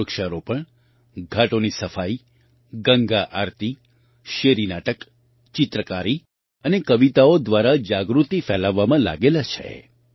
તેઓ વૃક્ષારોપણ ઘાટોની સફાઈ ગંગા આરતી શેરી નાટક ચિત્રકારી અને કવિતાઓ દ્વારા જાગૃતિ ફેલાવવામાં લાગેલા છે